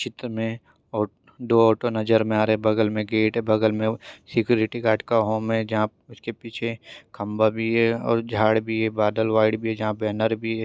इस चित्र में दो ऑटो नजर ए रई है बगल मे गेट बगल मे सिक्योरिटी गार्ड का होम है उसकी पीछे खंबा भी है झाड भी है बादल वाईट भी है बैनर भी है।